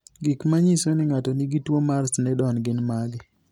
Gik manyiso ni ng'ato nigi tuwo mar Sneddon gin mage?